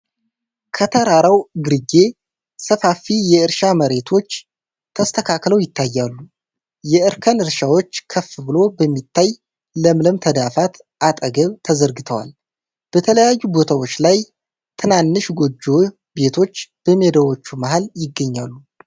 ከተራራው ግርጌ ሰፋፊ የእርሻ መሬቶች ተስተካክለው ይታያሉ። የእርከን እርሻዎች ከፍ ብሎ በሚታይ ለምለም ተዳፋት አጠገብ ተዘርግተዋል። በተለያዩ ቦታዎች ላይ ትናንሽ ጎጆ ቤቶች በሜዳዎቹ መሃል ይገኛሉ።